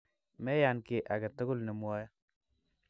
Meyan kiy agetugul nemwae